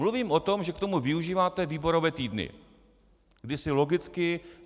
Mluvím o tom, že k tomu využíváte výborové týdny, kdy si logicky...